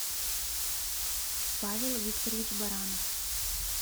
павел викторович баранов